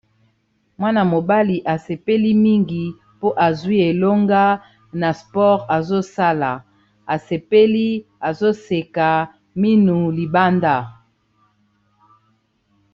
Mwana-mobali asepeli mingi mpo azwi elonga na sport azosala asepeli azoseka minu libanda.